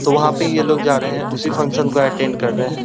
तो वहां ये यह लोग जा रहे हैं। उसी फंक्शन को अटेंड कर रहे हैं।